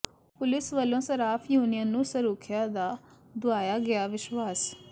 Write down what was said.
police ਵਲੋ ਸਰਾਫ union ਨੂੰ ਸਰੁਖਿਆ ਦਾ ਦੁਆਇਆ ਗਿਆ ਵਿਸ਼ਵਾਸ